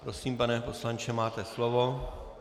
Prosím, pane poslanče, máte slovo.